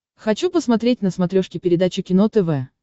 хочу посмотреть на смотрешке передачу кино тв